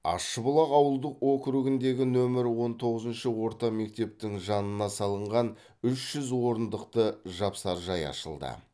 ащыбұлақ ауылдық округіндегі нөмірі он тоғызыншы орта мектептің жанына салынған үш жүз орындықты жапсаржай ашылды